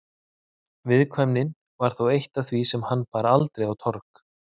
Viðkvæmnin var þó eitt af því sem hann bar aldrei á torg.